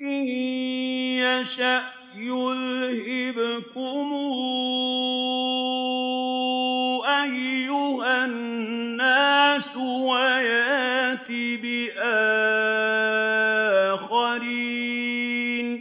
إِن يَشَأْ يُذْهِبْكُمْ أَيُّهَا النَّاسُ وَيَأْتِ بِآخَرِينَ ۚ